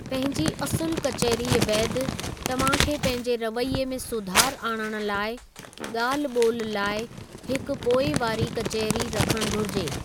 पंहिंजी असुलु कचहरीअ बैदि, तव्हांखे पंहिंजे रवैये में सुधार आणणु लाइ, ॻाल्हि बो॒ल लाइ हिकु पोइवारी कचहरी रखणु घुरिजे।